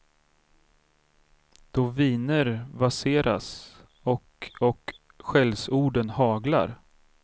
Då viner vaserna och och skällsorden haglar.